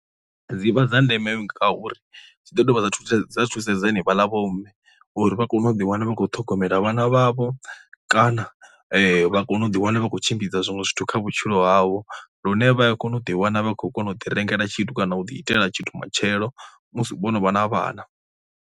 Dzi vha dza ndeme ngauri zwi ḓo dovha ha thusedza thusedza hani vhaḽa vhomme uri vha kone u ḓiwana vha khou ṱhogomela vhana vhavho kana vha kone u ḓiwana vha khou tshimbidza zwiṅwe zwithu kha vhutshilo havho, lune vha ya kona u ḓi wana vha khou kona u ḓi rengela tshithu kana u ḓi itela tshithu matshelo musi vho no vha na vhana.